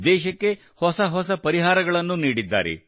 ದೇಶಕ್ಕೆ ಹೊಸ ಪರಿಹಾರಗಳನ್ನು ನೀಡಿದ್ದಾರೆ